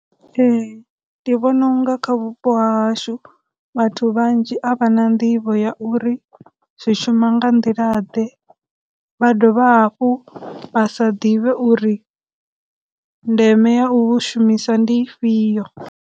Ee, ndi vhona unga kha vhupo ha hashu vhathu vhanzhi a vha na nḓivho ya uri zwi shuma nga nḓila ḓe, vha dovha hafhu vha sa ḓivhe uri ndeme ya uvhu shumisa ndi ifhio.